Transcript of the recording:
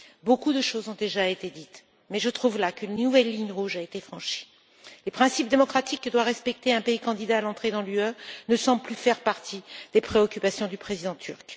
Beaucoup de choses ont déjà été dites, mais je trouve là qu'une nouvelle ligne rouge a été franchie les principes démocratiques que doit respecter un pays candidat à l'entrée dans l'Union européenne ne semblent plus faire partie des préoccupations du président turc.